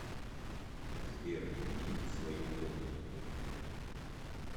сбер иди в свою комнату